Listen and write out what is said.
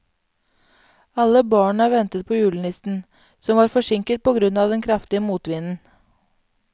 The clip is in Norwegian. Alle barna ventet på julenissen, som var forsinket på grunn av den kraftige motvinden.